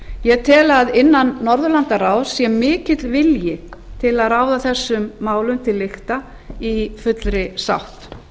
ég tel að innan norðurlandaráðs sé mikill vilji til að ráða þessum málum til lykta í fullri sátt